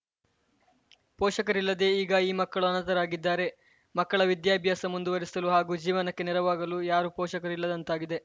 ಪೋಷಕರಿಲ್ಲದೇ ಈಗ ಈ ಮಕ್ಕಳು ಅನಾಥರಾಗಿದ್ದಾರೆ ಮಕ್ಕಳ ವಿದ್ಯಾಭ್ಯಾಸ ಮುಂದುವರೆಸಲು ಹಾಗೂ ಜೀವನಕ್ಕೆ ನೆರವಾಗಲು ಯಾರೂ ಪೋಷಕರು ಇಲ್ಲದಂತಾಗಿದೆ